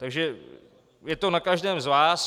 Takže je to na každém z vás.